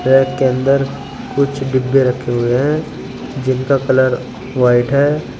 Bag के अंदर कुछ डिब्बे रखें हुए हैं जिनका कलर व्हाइट है।